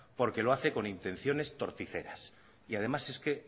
porque lo hace con intenciones torticeras y además es que